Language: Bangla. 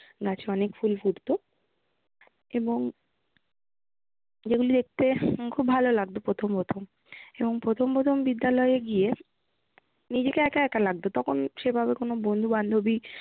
গাছে অনেক ফুল ফুটত, এবং এগুলি দেখতে খুব ভালো লাগতো প্রথম প্রথম এবং প্রথম প্রথম বিদ্যালয়ে গিয়ে নিজেকে একা একা লাগতো তখন সেভাবে কোন বন্ধু বান্ধবী